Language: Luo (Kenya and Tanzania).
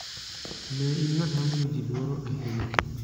"""Ne in ng'at ma miyo ji luoro ahinya."""